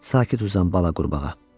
Sakit uzan bala qurbağa.